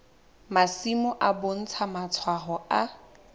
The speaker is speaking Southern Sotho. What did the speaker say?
masimo e bontsha matshwao a